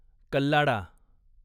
कल्लाडा